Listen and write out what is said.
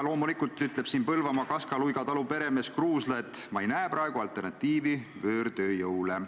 Loomulikult, ütleb Põlvamaa Kaska-Luiga talu peremees Kruusla, ta ei näe praegu alternatiivi võõrtööjõule.